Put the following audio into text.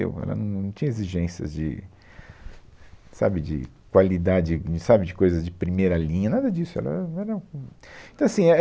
Ela não tinha exigências de, sabe, de qualidade, sabe, de coisas de primeira linha, nada disso. Ela era, então assim é